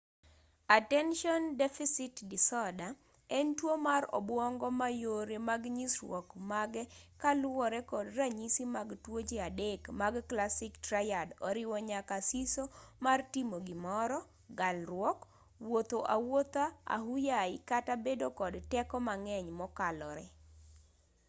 attention deficit disorder en tuo mar obwongo ma yore mag nyisruok mage koluwore kod ranyisi mag tuoche adek mag classic triad oriwo nyaka siso mar timo gimoro galruok wuotho awuotha ahuyayi kata bedo kod teko mang'eny mokalore